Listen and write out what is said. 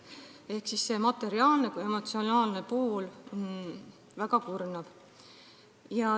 Ehk nii materiaalne kui ka emotsionaalne pool on väga kurnav.